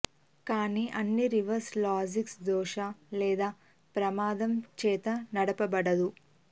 కానీ అన్ని reverse logistics దోష లేదా ప్రమాదం చేత నడపబడదు